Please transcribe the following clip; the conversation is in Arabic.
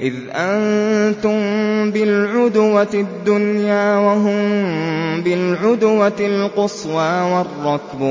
إِذْ أَنتُم بِالْعُدْوَةِ الدُّنْيَا وَهُم بِالْعُدْوَةِ الْقُصْوَىٰ وَالرَّكْبُ